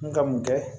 N ka mun kɛ